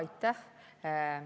Aitäh!